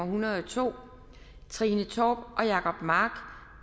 hundrede og to trine torp og jacob mark